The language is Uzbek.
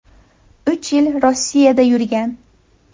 Uch yil Rossiyada yurgan.